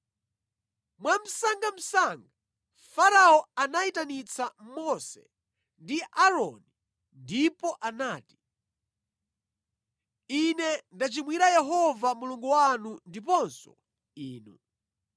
Mwamsangamsanga, Farao anayitanitsa Mose ndi Aaroni ndipo anati, “Ine ndachimwira Yehova Mulungu wanu ndiponso inu.